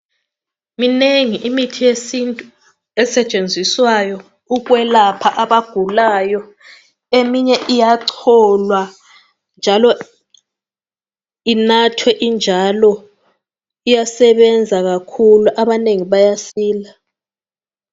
Minengi imithi yesintu esetshenziswayo ukwelapha abagulayo. Eminye iyacholwa njalo inathwe injalo. Iyasebenza kakhulu, abanengi bayasila.